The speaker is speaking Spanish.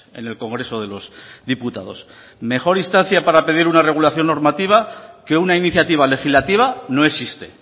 en el congreso de los diputados mejor instancia para pedir una regulación normativa que una iniciativa legislativa no existe